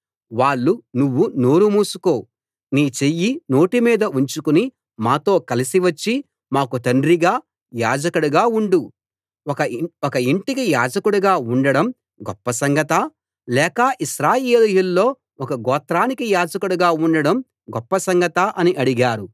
వాళ్ళు నువ్వు నోరు మూసుకో నీ చెయ్యి నోటి మీద ఉంచుకుని మాతో కలసి వచ్చి మాకు తండ్రిగా యాజకుడుగా ఉండు ఒక ఇంటికి యాజకుడుగా ఉండటం గొప్ప సంగతా లేక ఇశ్రాయేలీయుల్లో ఒక గోత్రానికి యాజకుడుగా ఉండటం గొప్ప సంగతా అని అడిగారు